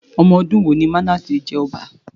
Omodun wo ni Mánásè jẹ ọba?